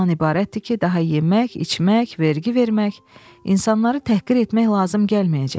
Bu da ondan ibarətdir ki, daha yemək, içmək, vergi vermək, insanları təhqir etmək lazım gəlməyəcək.